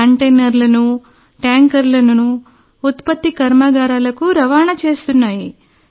కంటైనర్లు ట్యాంకర్లను ఉత్పత్తి కర్మాగారాలకు రవాణా చేస్తున్నాయి